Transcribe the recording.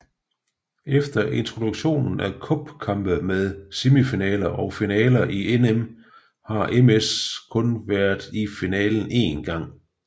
Efter introduktionen af cupkampe med semifinaler og finaler i NM har MS kun været i finalen en gang